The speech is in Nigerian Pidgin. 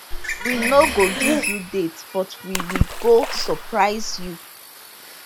we no go give you date but we we go surprise you